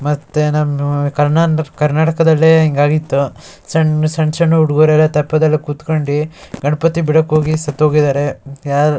ಮತ್ತೆ ನಮ್ ಕರ್ನಾಟಕದಲ್ಲೇ ಹಿಂಗ್ ಆಗಿತ್ತು ಸಣ್ಣ ಸಣ್ಣ ಹುಡುಗರು ಎಲ್ಲ ಕುತ್ಕೊಂಡಿ ತಪ್ಪದ್ ಮೇಲೆ ಕುತ್ಕೊಂಡು ಸತ್ ಹೋಗಿದಾರೆ.